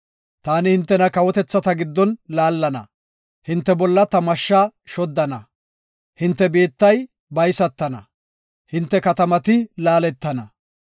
Taani hintena kawotethata giddon laallana; hinte bolla ta mashshaa shoddana. Hinte biittay baysatana; hinte katamati laaletana.